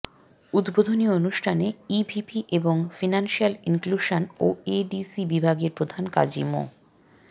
উদ্বোধনী অনুষ্ঠানে ইভিপি এবং ফিনান্সিয়াল ইনক্লুশন ও এডিসি বিভাগের প্রধান কাজী মো